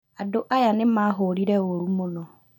Andũ aya nĩ mahũrire u̅ũru mũno